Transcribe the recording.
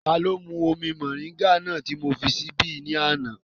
Taló mú omi mọ̀ríńgà náà ti mó fi síbí ní àná?